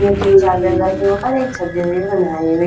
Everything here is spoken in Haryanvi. तीन चार पिलर के ऊपर एक छज्जी सी बनाई हुई ह।